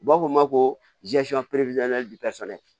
U b'a fɔ o ma ko